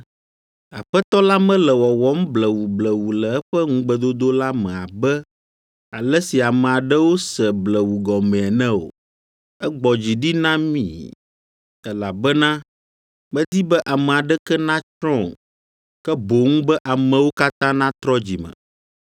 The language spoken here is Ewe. Aƒetɔ la mele wɔwɔm blewublewu le eƒe ŋugbedodo la me abe ale si ame aɖewo se blewu gɔmee ene o. Egbɔ dzi ɖi na mi, elabena medi be ame aɖeke natsrɔ̃ o, ke boŋ be amewo katã natrɔ dzi me.